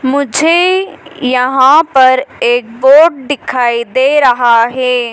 मुझे यहां पर एक बोर्ड दिखाई दे रहा है।